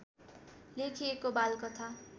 लेखिएको बालकथा